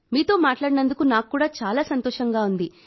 మీతో మాట్లాడినందుకు నాకు కూడా చాలా సంతోషంగా ఉంది